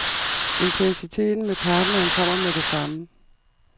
Intensiteten med partneren kommer med det samme.